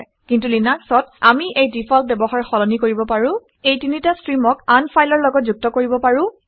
কিন্তু লিনাক্সত আমি এই ডিফ্লট ব্যৱহাৰ সলনি কৰিব পাৰো এই তিনিটা ষ্ট্ৰীমক আন ফাইলৰ লগত যুক্ত কৰিব পাৰোঁ